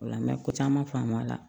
Ola n mɛ ko caman faamu a la